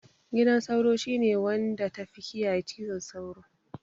Gidan sauro shine wanya da tafi kiyaye cizon sauro